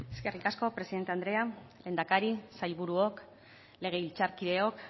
eskerrik asko presidente andrea lehendakari sailburuok legebiltzarkideok